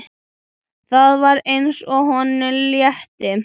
Það var eins og honum létti.